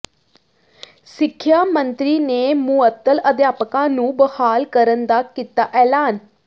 ਸਿੱਖਿਆ ਮੰਤਰੀ ਨੇ ਮੁਅੱਤਲ ਅਧਿਆਪਕਾਂ ਨੂੰ ਬਹਾਲ ਕਰਨ ਦਾ ਕੀਤਾ ਐਲਾਨ